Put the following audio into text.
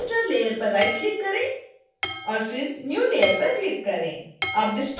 spoken tutorial layer पर right click करें और फिर new layer पर क्लिक करें